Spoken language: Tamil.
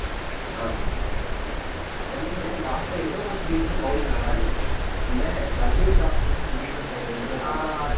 ஆஹ் சென்னையில last ஆ ஏதோ ஒரு season bowling நல்லா இருந்துச்சு இந்த தீபக் சேகர் ரெண்டு பேருமே